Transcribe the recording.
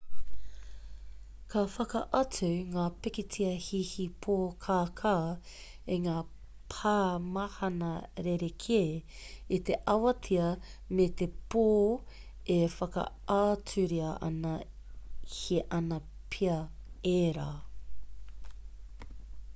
ka whakaatu ngā pikitia hihi pōkākā i ngā pāmahana rerekē i te awatea me te pō e whakaaturia ana he ana pea ērā